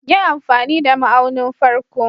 Yi amfani da ma'aunin farko.